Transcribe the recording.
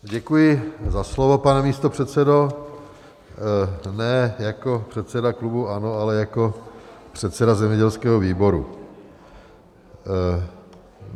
Děkuji za slovo, pane místopředsedo, ne jako předseda klubu ANO, ale jako předseda zemědělského výboru.